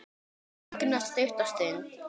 Hún þagnar stutta stund.